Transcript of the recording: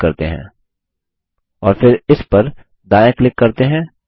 इस पर क्लिक करते हैं और फिर इस पर दायाँ क्लिक करते हैं